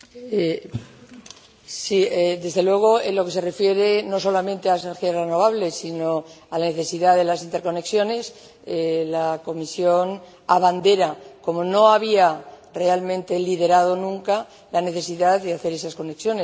Señor Selimovic, sí, desde luego, en lo que se refiere no solamente a las energías renovables, sino a la necesidad de las interconexiones, la Comisión abandera, como no había realmente liderado nunca, la necesidad de hacer esas conexiones.